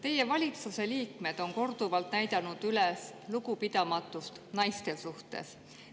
Teie valitsuse liikmed on korduvalt näidanud üles lugupidamatust naiste suhtes.